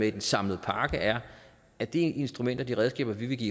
i den samlede pakke er at det instrument og de redskaber vi vil give